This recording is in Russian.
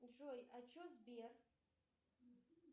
джой а че сбер